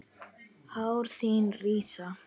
Hár þín rísa.